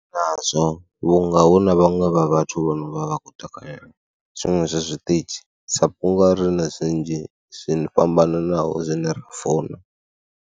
Nazwo vhunga hu na vhaṅwe vha vhathu vho no vha vha khou takalela zwiṅwe zwa zwiṱitshi sa vhunga ri na zwinzhi zwine fhambananaho zwine ra funa.